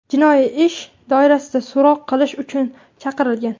jinoiy ish doirasida so‘roq qilish uchun chaqirilgan.